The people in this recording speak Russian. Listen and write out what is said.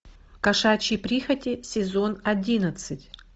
кошачьи прихоти сезон одиннадцать